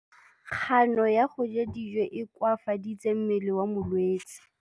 Kganô ya go ja dijo e koafaditse mmele wa molwetse.